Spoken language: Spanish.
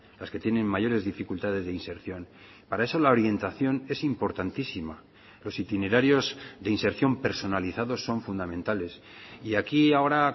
las que tienen mayores dificultades de inserción para eso la orientación es importantísima los itinerarios de inserción personalizados son fundamentales y aquí ahora